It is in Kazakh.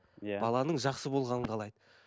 иә баланың жақсы болғанын қалайды